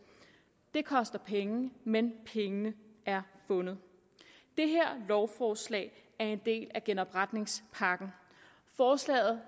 det koster penge men pengene er fundet det her lovforslag er en del af genopretningspakken forslaget